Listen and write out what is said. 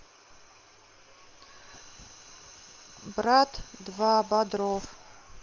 брат два бодров